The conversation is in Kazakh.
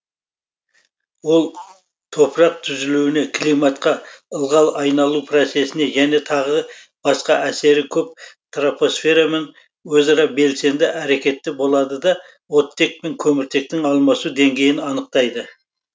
ол топырақ түзілуіне климатқа ылғал айналу процесіне және тағы басқа әсері көп тропосферамен өзара белсенді әрекетте болады да оттек пен көміртектің алмасу деңгейін анықтайды